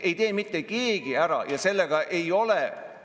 Me ei taha teha siia mingisugust kasarmut ja meil ei ole selleks mitte mingit vajadust.